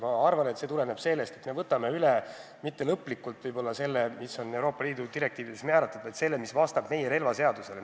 Ma arvan, et me ei võta üle mitte kõike, mis on Euroopa Liidu direktiivides määratud, vaid selle, mis vastab meie relvaseadusele.